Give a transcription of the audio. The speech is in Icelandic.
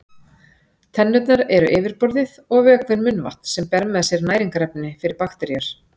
Tennurnar eru yfirborðið og vökvinn munnvatn sem ber með sér næringarefni fyrir bakteríur.